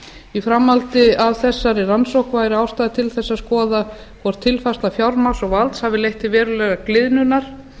í framhaldi af þessari rannsókn væri ástæða til þess að skoða hvort tilfærsla fjármagns og valds hafi leitt til verulegrar gliðnunar